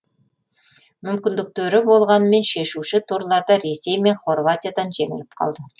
мүмкіндіктері болғанымен шешуші турларда ресей мен хорватиядан жеңіліп қалды